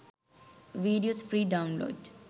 videos free download